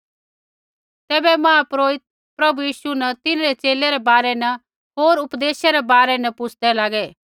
तैबै महापुरोहित प्रभु यीशु न तिन्हरै च़ेले रै बारै न होर उपदेशै रै बारै न पुच्छदै लागै